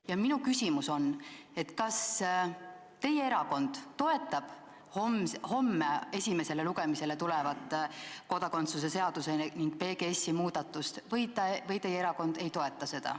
" Ja minu küsimus on, et kas teie erakond toetab homme esimesele lugemisele tulevat kodakondsuse seaduse ning PGS-i muudatust või teie erakond ei toeta seda.